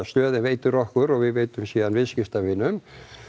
stöðin veitir okkur og við veitum síðan viðskiptavinum